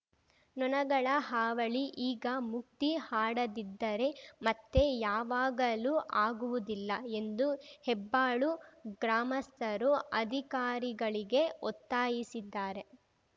ನೊಣಗಳ ಹಾವಳಿ ಈಗ ಮುಕ್ತಿ ಹಾಡದಿದ್ದರೆ ಮತ್ತೆ ಯಾವಾಗಲೂ ಆಗುವುದಿಲ್ಲ ಎಂದು ಹೆಬ್ಬಾಳು ಗ್ರಾಮಸ್ಥರು ಅಧಿಕಾರಿಗಳಿಗೆ ಒತ್ತಾಯಿಸಿದ್ದಾರೆ